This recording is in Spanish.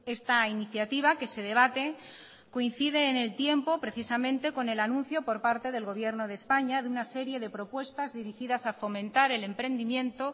esta iniciativa que se debate coincide en el tiempo precisamente con el anuncio por parte del gobierno de españa de una serie de propuestas dirigidas a fomentar el emprendimiento